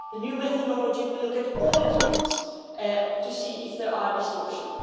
The new methodology will look at all countries to see if there are distortions.